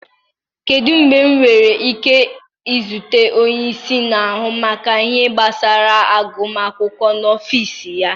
Kedu mgbe m nwere ike izute onye isi na-ahụ maka ihe gbasara agụm akwụkwọ n'ọfịs ya?